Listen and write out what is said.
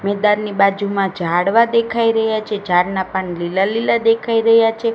મેદાનની બાજુમાં ઝાડવા દેખાઈ રહ્યા છે ઝાડના પાન લીલા લીલા દેખાઈ રહ્યા છે.